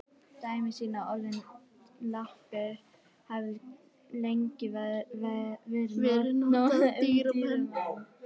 Dæmi sýna að orðið lappir hefur lengi verið notað um dýr og menn.